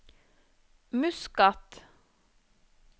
Muscat